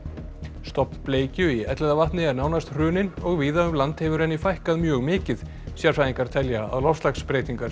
stofn bleikju í Elliðavatni er nánast hruninn og víða um land hefur henni fækkað mjög mikið sérfræðingar telja að loftslagsbreytingar séu